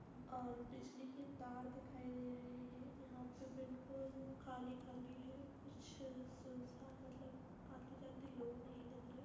अ बिजली की तार दिखाई दे रहे हैं। यहाँ पे बिल्कुल खाली खाली है। कुछ सुनसान मतलब आते-जाते लोग नहीं दिख रहे हैं।